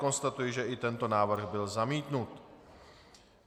Konstatuji, že i tento návrh byl zamítnut.